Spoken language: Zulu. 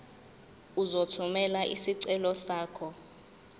uzothumela isicelo sakho